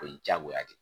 O ye diyagoya ye